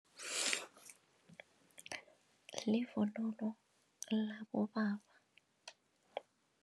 Livunulo labobaba.